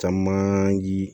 Caman ye